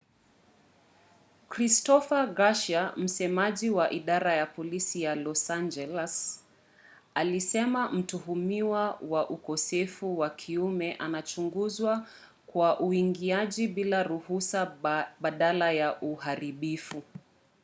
christopher garcia msemaji wa idara ya polisi ya los angeles alisema mtuhumiwa wa ukosefu wa kiume anachunguzwa kwa uingiaji bila ruhusa badala ya uharibifu